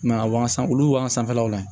I ma ye a wagasugu olu sanfɛlaw la